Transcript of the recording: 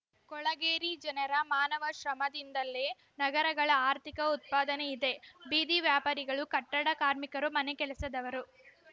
ಕೊಳಗೇರಿ ಜನರ ಮಾನವ ಶ್ರಮದಿಂದಲೇ ನಗರಗಳ ಆರ್ಥಿಕ ಉತ್ಪಾದನೆ ಇದೆ ಬೀದಿ ವ್ಯಾಪಾರಿಗಳು ಕಟ್ಟಡ ಕಾರ್ಮಿಕರು ಮನೆಗೆಲಸದವರು